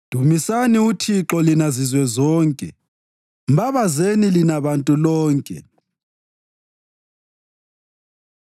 Dumisani uThixo lina zizwe zonke; mbabazeni lina bantu lonke.